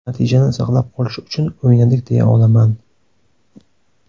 Natijani saqlab qolish uchun o‘ynadik deya olaman.